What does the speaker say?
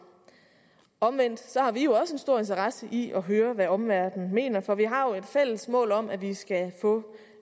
omvendt har vi også en stor interesse i at høre hvad omverdenen mener for vi har jo et fælles mål om at vi skal få